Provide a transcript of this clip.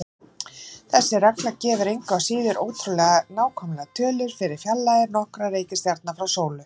Þessi regla gefur engu að síður ótrúlega nákvæmar tölur fyrir fjarlægðir nokkurra reikistjarna frá sólu.